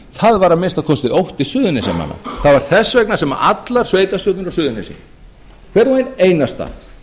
það var að minnsta kosti ótti suðurnesjamanna það var þess vegna sem allar sveitarstjórnir á suðurnesjum hver og ein einasta